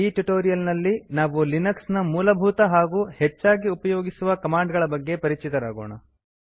ಈ ಟ್ಯುಟೋರಿಯಲ್ ನಲ್ಲಿ ನಾವು ಲಿನಕ್ಸ್ ನ ಮೂಲಭೂತ ಹಾಗೂ ಹೆಚ್ಚಾಗಿ ಉಪಯೋಗಿಸುವ ಕಮಾಂಡ್ ಗಳ ಬಗ್ಗೆ ಪರಿಚಿತರಾಗೋಣ